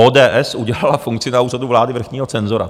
ODS udělala funkci na Úřadu vlády - vrchního cenzora.